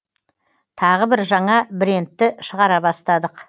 тағы бір жаңа брендті шығара бастадық